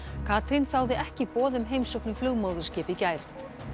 Katrín þáði ekki boð um heimsókn í flugmóðurskip í gær